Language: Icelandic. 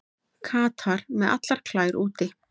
Katar með allar klær úti